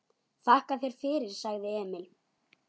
Þakka þér fyrir, sagði Emil.